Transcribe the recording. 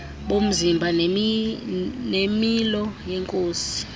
bomzimba nemilo yenkosi